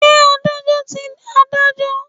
Ṣé Adájọ́ ti Adájọ́?